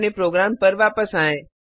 अपने प्रोग्राम पर वापस आएँ